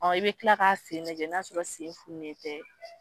i bɛ kila ka sen lajɛ n'a sɔrɔ sen fununen tɛ.